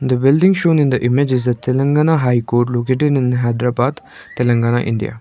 the building shown in the image is a telangana high court located in hyderabad telengana india.